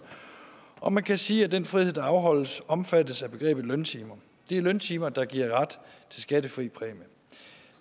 om man kan sige at den frihed der afholdes omfattes af begrebet løntimer det er løntimer der giver ret til skattefri præmie